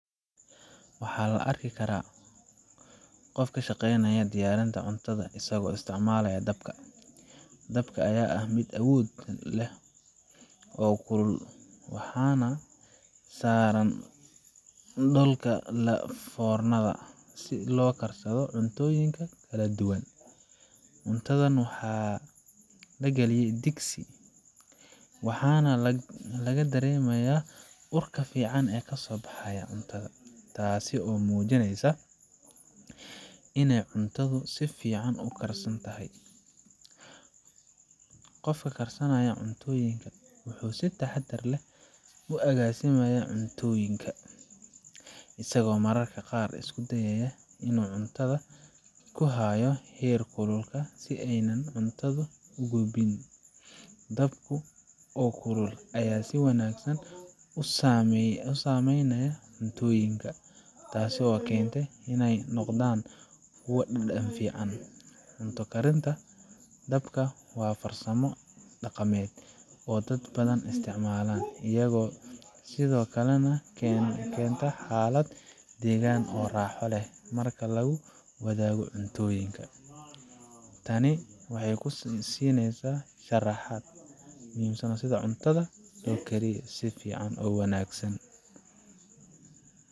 Waxaa la arki karaa qof ka shaqeynaya diyaarinta cuntada isagoo isticmaalaya dabka. Dabka ayaa ah mid awood leh oo kulul, waxaana saaran dhoolka la foornada si uu u karsado cuntooyinka kala duwan. Cuntadan waxaa la galiyaa digsi ama weel, waxaana laga dareemayaa urka fiican ee ka soo baxaya, taasoo muujinaysa inay cuntadu si fiican u karsan tahay. Qofka karsanaya cuntooyinka wuxuu si taxaddar leh u agaasimayaa cuntooyinka, isagoo mararka qaar isku dayaya in uu gacanta ku hayo heerkulka si aanay cuntadu u gubin. Dabka oo kulul ayaa si wanaagsan u saameynaya cuntooyinka, taasoo keenta in ay noqdaan kuwo dhadhan fiican leh. Cunto karinta dabka waa farsamo dhaqameed oo dad badan isticmaalaan, iyadoo sidoo kalena keenta xaalad deggan oo raaxo leh marka lagu wadaago cuntooyinkaa Tani waxay ku siinaysaa sharaxaad ku saabsan sidi cuntada loo kariyo sidifican oo wanagsan.